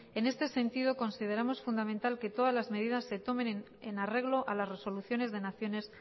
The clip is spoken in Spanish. en este sentido consideramos fundamental que todas las medidas se tomen en arreglo a las resoluciones de naciones